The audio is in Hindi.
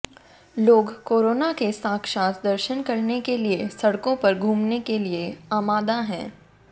लोग कोरोना के साक्षात दर्शन करने के लिए सड़कों पर घूमने के लिए आमादा हैं